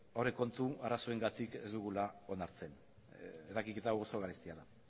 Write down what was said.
aurrekontu arazoengatik ez dugula onartzen eragiketa hau oso garestia da